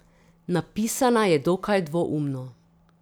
Napisana je dokaj dvoumno.